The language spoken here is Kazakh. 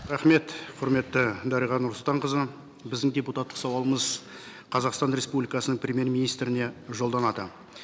рахмет құрметті дариға нұрсұлтанқызы біздің депутаттық сауалымыз қазақстан республикасының премьер министріне жолданады